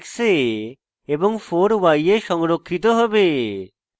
3 x এ এবং 4 y এ সংরক্ষিত হবে